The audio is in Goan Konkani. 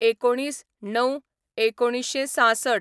१९/०९/१९६६